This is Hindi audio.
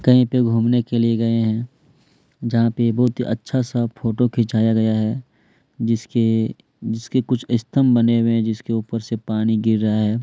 कहीं पर घूमने के लिए गए हैं जहाँ पर बहुत ही अच्छा सा फोटो खिंचाया गया है जिसके जिसके कुछ स्तम्भ बने हुए हैं जिसके ऊपर से पानी गिर रहा है।